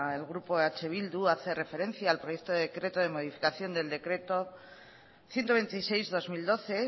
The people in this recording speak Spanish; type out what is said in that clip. el grupo eh bildu hace referencia al proyecto decreto de modificación del decreto ciento veintiséis barra dos mil doce